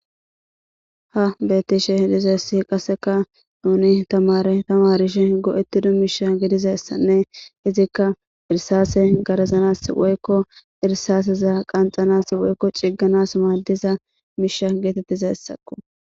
ha bettishe hedizessi qasseka nuni tamare tamarishe go7ettida miisha gedizessanne izikka irsase garazanas woykko irsaaseza qanxanas woykko ciigganas maaddiza miisha geetettizassakko